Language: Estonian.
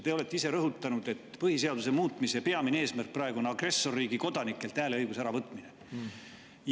Te olete ise rõhutanud, et põhiseaduse muutmise peamine eesmärk praegu on agressorriigi kodanikelt hääleõiguse äravõtmine.